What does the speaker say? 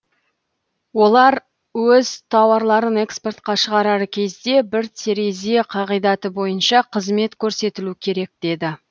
олар өз тауарларын экспортқа шығарар кезде бір терезе қағидаты бойынша қызмет көрсетілу керек деді